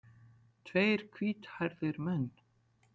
Tveir hvíthærðir menn.